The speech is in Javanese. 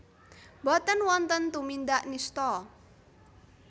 Boten wonten tumindak nistha